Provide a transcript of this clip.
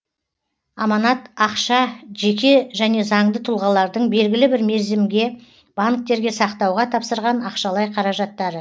аманат ақша жеке және заңды тұлғалардың белгілі бір мерзімге банктерге сақтауға тапсырған ақшалай қаражаттары